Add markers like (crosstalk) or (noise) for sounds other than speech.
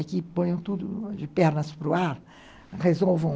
Aqui, põem tudo de pernas para o ar. (unintelligible)